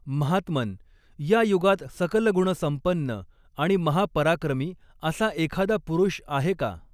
महात्मन्, या युगात सकलगुणसंपन्न आणि महापराक्रमी असा एखादा पुरुष आहे का